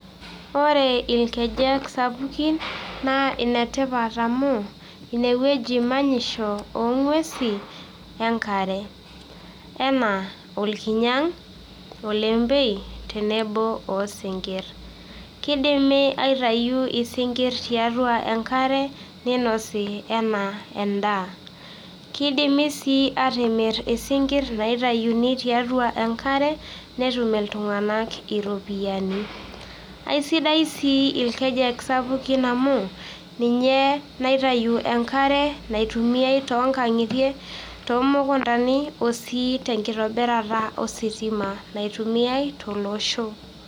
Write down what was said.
Ore itkejek sapuki naa enetipat amuu ineweji manyisho ong'wesi enkare enaa olkinyang',olembei tenebo ooskinkirr, keidimi aitayu osinkirr teatua inkare neinosi enaa endaa, keidimi sii aatimir isinkirri naitayuni tiatua enkare netum intunganak iropiyiani, esidai sii irkejek sapuki amuu ninye naitayu enkare naitumiyai too inkang'itie, too mukuntani oo sii te nkitibirata ositima naitumiyai to loshoo.